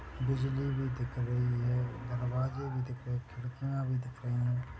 बिजली भी दिख रही है दरवाजे भी दिख रहे खिड़कियां भी दिख रही है।